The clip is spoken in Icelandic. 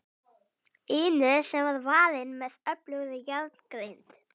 inu sem var varin með öflugri járngrind.